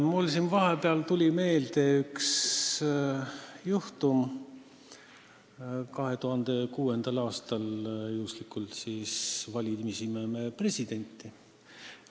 Mul tuli siin vahepeal meelde üks juhtum 2006. aastast, kui me juhuslikult presidenti valisime.